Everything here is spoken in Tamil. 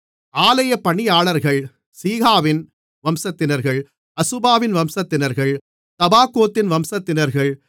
ஆலயப் பணியாளர்கள் சீகாவின் வம்சத்தினர்கள் அசுபாவின் வம்சத்தினர்கள் தபாகோத்தின் வம்சத்தினர்கள்